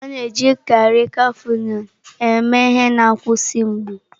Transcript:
A na-ejikarị Cafịnọlụ eme ihe na a nkwụsị mgbu.